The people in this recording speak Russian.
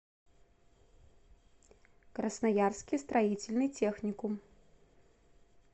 красноярский строительный техникум